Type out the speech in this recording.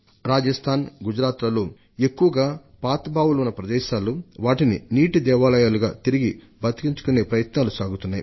రాజస్థాన్ గుజరాత్ లలో ఎక్కువగా పాత బావులు ఉన్న ప్రదేశాల్లో వాటిని నీటి దేవాలయాలుగా తిరిగి బతికించుకునే ప్రయత్నాలు సాగుతున్నాయి